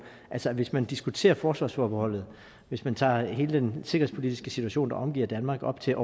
altså at hvis man diskuterer forsvarsforbeholdet hvis man tager hele den sikkerhedspolitiske situation der omgiver danmark op til